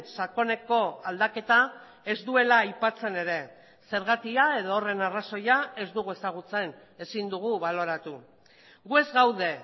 sakoneko aldaketa ez duela aipatzen ere zergatia edo horren arrazoia ez dugu ezagutzen ezin dugu baloratu gu ez gaude